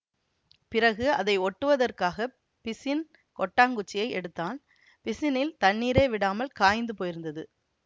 பிறகு அதை ஒட்டுவதற்காகப் பிசின் கொட்டாங்குச்சியை எடுத்தான் பிசினில் தண்ணீரே விடாமல் காய்ந்து போயிருந்தது